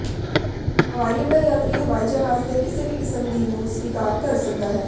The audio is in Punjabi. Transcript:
ਹਵਾਈਅੱਡਾ ਯਾਤਰੀ ਹਵਾਈ ਜਹਾਜ਼ ਦੇ ਕਿਸੇ ਵੀ ਕਿਸਮ ਦੀ ਨੂੰ ਸਵੀਕਾਰ ਕਰ ਸਕਦਾ ਹੈ